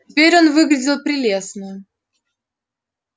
теперь он выглядел прелестно